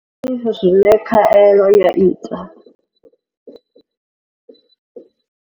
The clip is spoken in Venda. Ndi mini zwine khaelo ya ita?